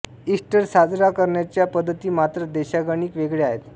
Easter साजरा करण्याच्या पद्धती मात्र देशागणिक वेगळ्या आहेत